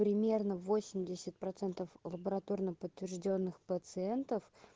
примерно восемьдесят процентов лабораторно подтверждённых пациентов